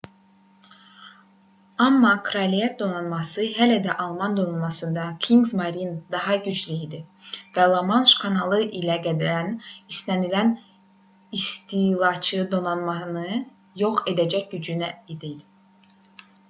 amma kraliyət donanması hələ də alman donanmasından kriegsmarine daha güclü idi və la manş kanalı ilə gələn istənilən istilaçı donanmanı yox edəcək gücdə idi